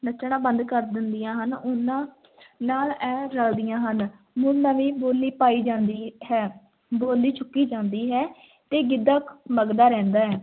ਨੱਚਣਾ ਬੰਦ ਕਰ ਦਿੰਦੀਆਂ ਹਨ l ਉਹਨਾਂ ਨਾਲ ਇਹ ਰਲਦੀਆਂ ਹਨ, ਮੁੜ ਨਵੀਂ ਬੋਲੀ ਪਾਈ ਜਾਂਦੀ ਹੈ, ਬੋਲੀ ਚੁੱਕੀ ਜਾਂਦੀ ਹੈ ਤੇ ਗਿੱਧਾ ਮਘਦਾ ਰਹਿੰਦਾ ਹੈ।